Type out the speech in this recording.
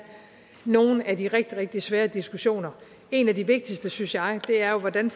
nogle af de rigtig rigtig svære diskussioner en af de vigtigste synes jeg er jo hvordan